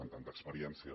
amb tanta experiència